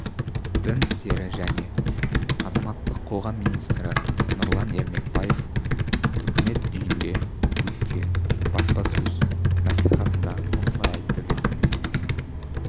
дін істері және азаматтық қоғам министрі нұрлан ермекбаев үкімет үйінде өткен баспасөз мәслихатында осылай айтты деп